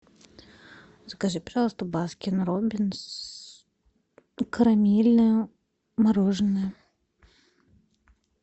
закажи пожалуйста баскин роббинс карамельное мороженое